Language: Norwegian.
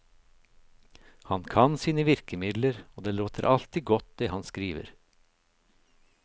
Han kan sine virkemidler, og det låter alltid godt det han skriver.